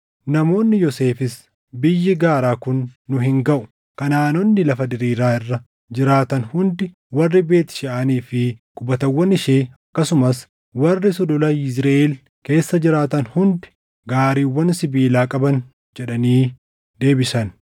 Namoonni Yoosefis, “Biyyi gaaraa kun nu hin gaʼu; Kanaʼaanonni lafa diriiraa irra jiraatan hundi, warri Beet Sheʼaanii fi qubatawwan ishee akkasumas warri Sulula Yizriʼeel keessa jiraatan hundi gaariiwwan sibiilaa qaban” jedhanii deebisan.